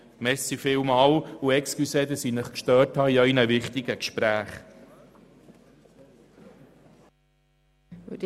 Entschuldigen Sie, dass ich Sie bei Ihren wichtigen Gesprächen gestört habe.